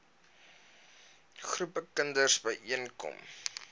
groepe kinders byeenkom